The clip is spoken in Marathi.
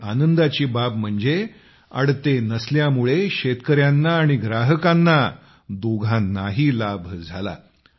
आणि आनंदाची बाब म्हणजे अडते नसल्यामुळे शेतकऱ्यांना आणि ग्राहकांना दोघांनाही लाभ झाला